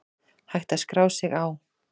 Hægt að skrá sig á